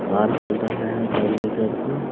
Car चल रहा है बैगनी कलर का।